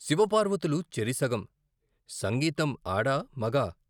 శివపార్వతులు చెరిసగం సంగీతం ఆడా మగా.